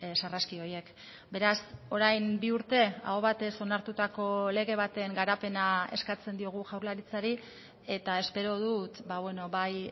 sarraski horiek beraz orain bi urte aho batez onartutako lege baten garapena eskatzen diogu jaurlaritzari eta espero dut bai